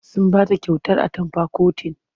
Sun ba ta kyautar atamfa kotin.